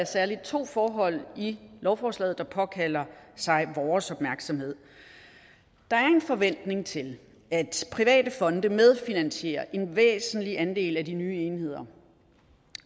særlig to forhold i lovforslaget der påkalder sig vores opmærksomhed der er en forventning til at private fonde medfinansierer en væsentlig andel af de nye enheder